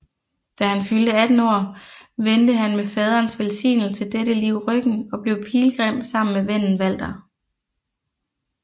Da han fyldte 18 år vendte han med faderens velsignelse dette liv ryggen og blev pilgrim sammen med vennen Walter